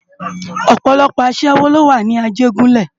Òpòlòpò aṣèwó ló wá ni Ajegunle